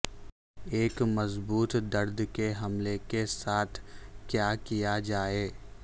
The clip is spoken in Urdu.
ایک مضبوط درد کے حملے کے ساتھ کیا کیا جائے